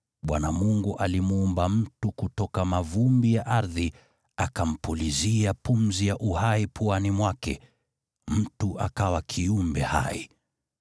Bwana Mungu alimuumba mtu kutoka mavumbi ya ardhi, akampulizia pumzi ya uhai puani mwake, naye mtu akawa kiumbe hai.